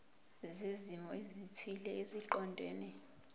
zezimo ezithile eziqondene